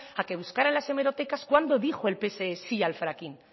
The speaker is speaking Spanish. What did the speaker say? a que buscara en las hemerotecas cuando dijo el pse sí al fracking